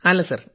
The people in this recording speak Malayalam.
അല്ല സർ